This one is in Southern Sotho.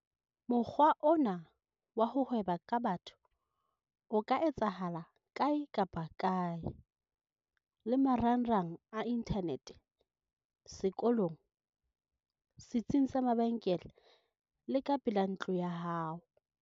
Mokgwa ona wa ho hweba ka batho o ka etsahala kae kapa kae - le marangrang a inthanete, sekolong, setsing sa mabenkele le ka pela ntlo ya hao.